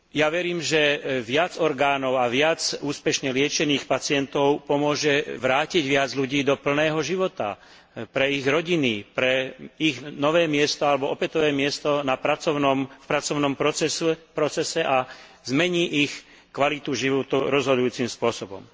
Verím, že viac orgánov a viac úspešne liečených pacientov pomôže vrátiť viac ľudí do plného života, pre ich rodiny, pre ich nové miesto alebo opätovné miesto v pracovnom procese a zmení ich kvalitu života rozhodujúcim spôsobom.